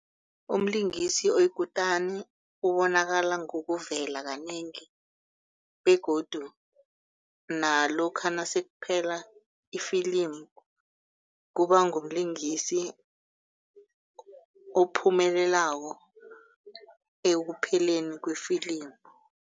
Umlingisi oyikutani ubonakala ngokuvela kanengi begodu nalokha nasekuphela ifilimu kubangumlingisi ophumelelako ekupheleni wefilimu.